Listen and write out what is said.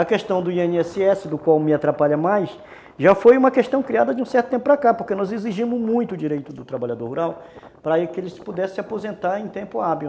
A questão do i ene esse esse, do qual me atrapalha mais, já foi uma questão criada de um certo tempo para cá, porque nós exigimos muito o direito do trabalhador rural para que ele pudesse se aposentar em tempo hábil.